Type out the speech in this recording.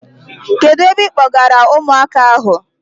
Kedụ ebe ịkpọgara ụmụaka ahụ?